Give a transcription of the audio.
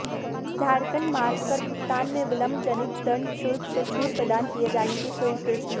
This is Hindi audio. झारखंड मार्ग कर भुगतान में विलंबजनित दंड शुल्क से छूट प्रदान किए जाने की स्वीकृति